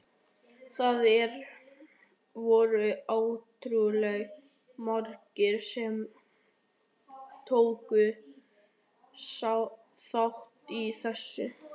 Það voru ótrúlega margir sem tóku þátt í þessu.